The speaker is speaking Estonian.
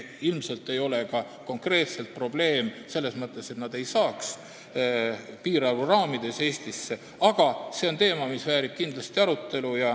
Ilmselt ei ole konkreetne probleem selles, et nad ei pääseks piirarvu raamides Eestisse, aga see teema väärib kindlasti arutelu.